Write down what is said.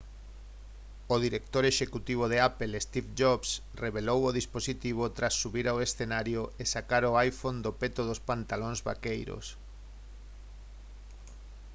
o director executivo de apple steve jobs revelou o dispositivo tras subir ao escenario e sacar o iphone do peto dos pantalóns vaqueiros